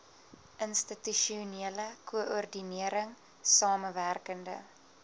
institusionele koördinering samewerkende